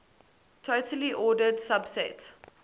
totally ordered subset